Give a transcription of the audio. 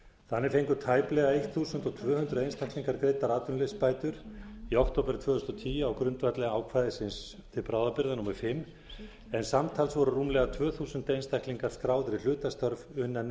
þannig fengu tæplega tólf hundruð einstaklingar greiddar atvinnuleysisbætur í október tvö þúsund og tíu á grundvelli ákvæðis til bráðabirgða fimm en samtals voru rúmlega tvö þúsund einstaklingar skráðir í